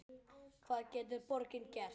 Hvað getur borgin gert?